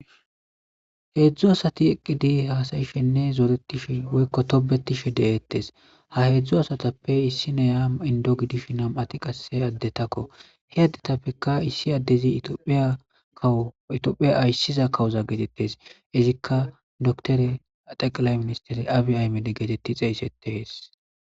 heedzdzu asati eqqidi haasayishenne zooretishe woykko tobetishe de7eettes ha heedzdzu asatappe issi neya indo gidish nam7ati qase addetakko he addetappeka issi addezi ihiyitophiya ayssiza kawuza geetettes izikka dotore axeqalay ministere abi aymede geetetti xeeysetees